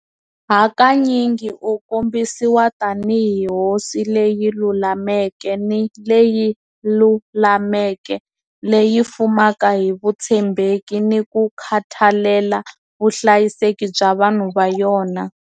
Hakanyingi u kombisiwa tanihi hosi leyi lulameke ni leyi lulameke leyi fumaka hi vutshembeki ni ku khathalela vuhlayiseki bya vanhu va yona.